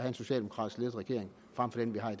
en socialdemokratisk ledet regering frem for den vi har